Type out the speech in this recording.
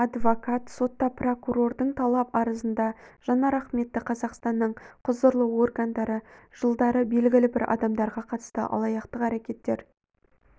адвокат сотта прокурордың талап-арызында жанар ахметті қазақстанның құзырлы органдары жылдары белгілі бір адамдарға қатысты алаяқтық әрекеттер